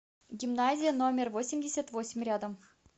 гимназия номер восемьдесят восемь рядом